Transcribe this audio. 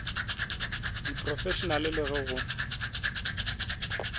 ka diphrofešenale le ge go